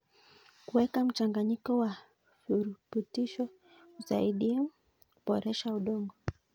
Kuweka mchanganyiko wa virutubisho husaidia kuboresha udongo.